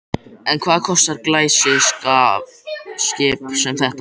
En hvað kostar glæsiskip sem þetta?